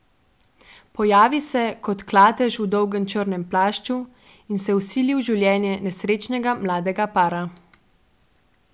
Pojavi se kot klatež v dolgem črnem plašču in se vsili v življenje nesrečnega mladega para.